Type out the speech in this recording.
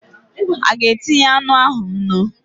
A ga-etinye anụ ahụ nnu?